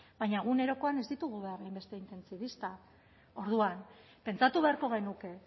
baina egunerokoan ez ditugu behar hainbeste intentsibista orduan pentsatu beharko genuke